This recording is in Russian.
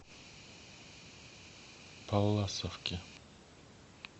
палласовке